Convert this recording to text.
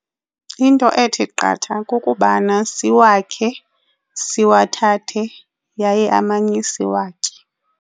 Into ethi qatha kukubana siwakhe siwathathe yaye amanye siwatye.